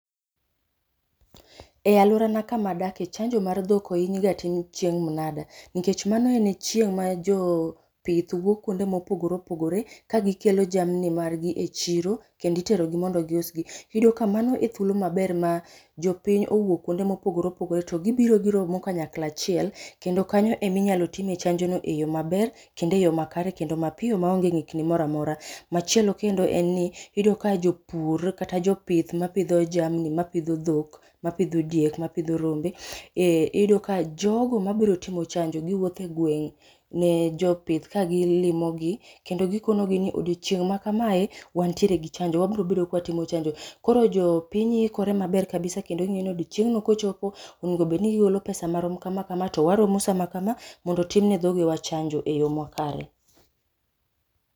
E alworana kama adake chanjo mar dhok oiny ga tim chieng' mnada nikech mano en chieng' ma joo pith wuok kwonde mopogore opogore ka gikelo jamni margi e chiro kendi itero gi mondo gius gi. Iyudo ka mano e thuolo maber ma jopiny owuok kwonde mopogore opogore to gibiro giromo kanyakla achiel kendo kanyo emi nyalo time e chanjono eyo maber, kendo eyo makare kendo mapiyo maonge ng'ikni mora amora. Machielo kendo en ni, iyudo ka jopur kata jopith mapidho jamni, mapidho dhok, mapidho diek, mapidho rombe, ee iyudo ka jogo mabiro timo chajo giwuotho e gweng' ne jopith ka gi limo gi, kendo gikono gi ni odiochieng' ma kamae, wntiere gi chanjo, wabrobedo kwatimo chanjo. Koro jopiny ikore maber kabisa kendo ging'e nodochieng' no kochopo, onego bedni gigolo pesa marom kama kama to waromo saa makama kama mondo otimne dhogewa chanjo e yo makare